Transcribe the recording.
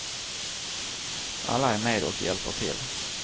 Alla är med och hjälper till.